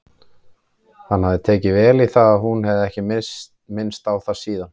Hann hafði tekið vel í það en hún hafði ekki minnst á það síðan.